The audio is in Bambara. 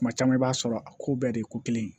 Kuma caman i b'a sɔrɔ a ko bɛɛ de ye ko kelen ye